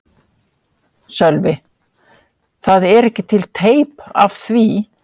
Sölvi: Það er ekki til teip af því?